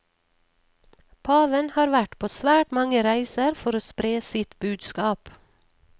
Paven har vært på svært mange reiser for å spre sitt budskap.